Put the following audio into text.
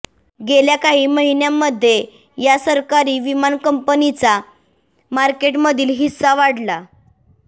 गेल्या काही महिन्यांमध्ये या सरकारी विमान कंपनीचा मार्केटमधील हिस्सा वाढला